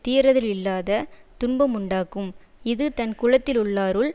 தீரதலில்லாத துன்பமுண்டாக்கும் இது தன் குலத்திலுள்ளாருள்